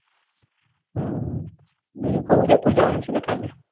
હમ બીજું કું ઉદયપુર જવાનું છે કાલે.